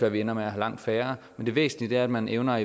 at vi ender med at have langt færre men det væsentlige er at man evner